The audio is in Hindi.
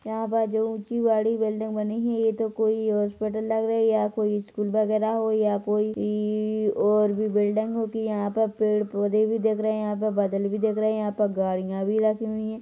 यहाँ बाजू ऊंची बड़ी बिल्डिंग बनी ही हैं ये तो कोई हॉस्पिटल लग रही हैं या कोई स्कूल वगैरह होया कोई और भी बिल्डिंग होगी यहाँ पे पेड़-पौधे भी दिख रहे हैं यहाँ पर बादल भी दिख रहे हैं यहाँ पर गाड़िया भी रखी हुई हैं।